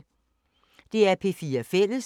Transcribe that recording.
DR P4 Fælles